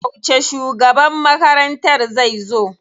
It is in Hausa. Yauce shugaban makarantar zai zo?